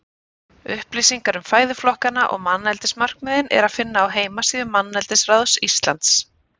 Upplýsingar um fæðuflokkana og manneldismarkmiðin er að finna á heimasíðu Manneldisráðs Íslands.